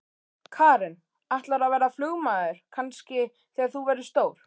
Karen: Ætlarðu að verða flugmaður kannski þegar þú verður stór?